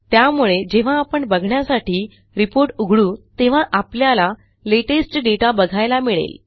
त्यामुळे जेव्हा आपण बघण्यासाठी रिपोर्ट उघडू तेव्हा आपल्याला लेटेस्ट दाता बघायला मिळेल